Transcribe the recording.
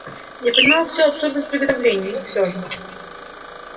я понимал всю абсурдность приготовлений но все же